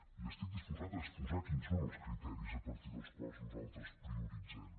i estic disposat a exposar quins són els criteris a partir dels quals nosaltres prioritzem